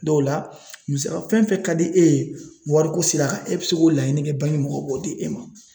Dɔw la muso fɛn fɛn ka di e ye wariko sira kan e bɛ se k'o laɲini kɛ mɔgɔw b'o di e ma